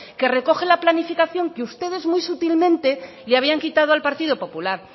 que recoge la planificación que ustedes muy sutilmente le habían quitado al partido popular